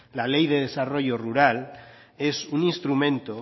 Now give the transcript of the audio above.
la ley de desarrollo rural es un instrumento